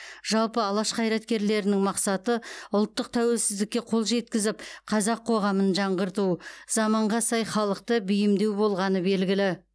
жалпы алаш қайраткерлерінің мақсаты ұлттық тәуелсіздікке қол жеткізіп қазақ қоғамын жаңғырту заманға сай халықты бейімдеу болғаны белгілі